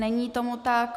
Není tomu tak.